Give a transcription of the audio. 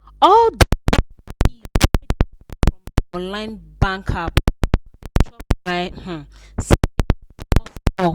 all the steady fees wey dey come from my online bank app don dey chop my um savings small small.